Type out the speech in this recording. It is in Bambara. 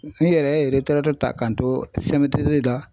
Ne yɛrɛ ye ta ka n to la.